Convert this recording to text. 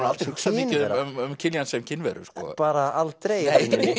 aldrei hugsað mikið um Kiljan sem kynveru bara aldrei